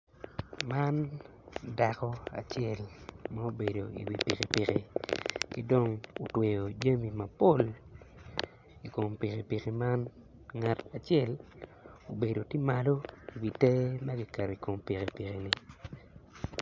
Man dako acel ma obedo iwi pikipiki ki dong otweyo jami mapol i kom pikipiki man ngat acel obedo tye malo iwi te ma kiketo i kom pikipikini.